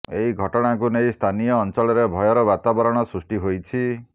ଏହି ଘଟଣାକୁ ନେଇ ସ୍ଥାନୀୟ ଅଂଚଳରେ ଭୟର ବାତାବରଣ ସୃଷ୍ଟି ହୋଇଛି